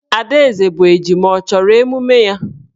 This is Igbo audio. Adaeze bụ ejima, ọ chọrọ emume ya.